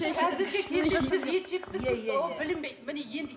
қазіргі кезде сіз ет жеп тұрсыз ол білінбейді міне енді